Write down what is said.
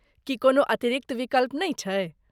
की कोनो अतिरिक्त विकल्प नै छै?